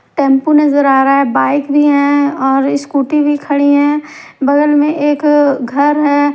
Tempo नजर आ रहा है बाइक भी है और स्कूटी भी खड़ी है बगल में एक अ घर है।